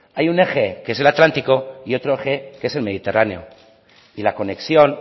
hay un eje que es el atlántico y otro eje que es el mediterráneo y la conexión